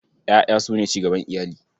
Ƴaƴa su ne cigaban iyali.